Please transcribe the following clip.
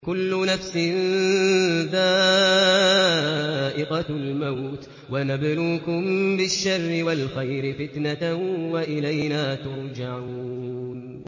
كُلُّ نَفْسٍ ذَائِقَةُ الْمَوْتِ ۗ وَنَبْلُوكُم بِالشَّرِّ وَالْخَيْرِ فِتْنَةً ۖ وَإِلَيْنَا تُرْجَعُونَ